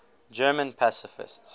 german pacifists